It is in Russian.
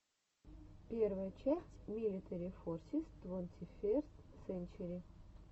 первая часть милитари форсис твонтиферст сенчери